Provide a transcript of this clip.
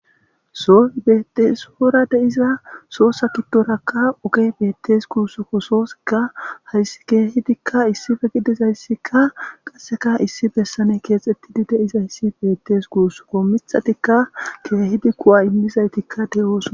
Sohoy bettes guyera deiza sohoza giddorakka oggey bettes gussuko sohozikka hayssi kehidika issipe diizayssika qasseka issi bessan kexxetidi de'izayssi bettesi gussuko miththattika kehidi kuuwa immizayttika de'ossona.